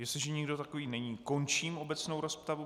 Jestliže nikdo takový není, končím obecnou rozpravu.